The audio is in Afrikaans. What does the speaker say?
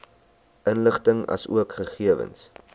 inligting asook gegewens